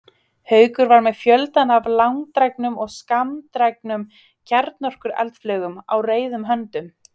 Haukur var með fjöldann af langdrægum og skammdrægum kjarnorkueldflaugum á reiðum höndum.